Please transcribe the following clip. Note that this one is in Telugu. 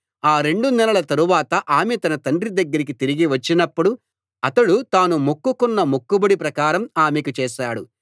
ఆ రెండు నెలల తరువాత ఆమె తన తండ్రి దగ్గరికి తిరిగి వచ్చినప్పుడు అతడు తాను మొక్కు కొన్న మొక్కుబడి ప్రకారం ఆమెకు చేశాడు